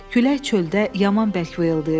Külək çöldə yaman bərk vıyıldayırdı.